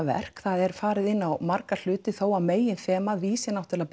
verk það er farið inn á marga hluti þó að meginþemað vísi náttúrulega